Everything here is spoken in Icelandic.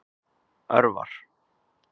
Örvar